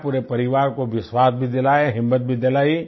पूरे परिवार को विश्वास भी दिलाया हिम्मत भी दिलाई